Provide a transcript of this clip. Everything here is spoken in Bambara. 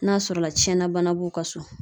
N'a sɔrɔ la tiɲɛna bana b'u ka so.